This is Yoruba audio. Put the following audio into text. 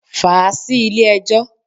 Fàá sí ilé ẹjọ́.